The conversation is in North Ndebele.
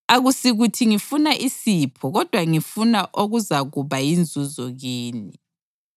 Akusikuthi ngifuna isipho kodwa ngifuna okuzakuba yinzuzo kini.